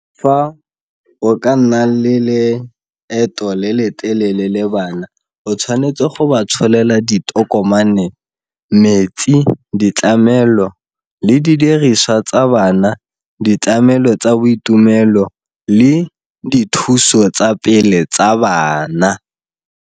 Fa o ka nna le leeto le le telele le bana o tshwanetse go ba tsholela ditokomane, metsi, ditlamelo le didiriswa tsa bana, ditlamelo tsa boitumelo le dithuso tsa pele tsa bana.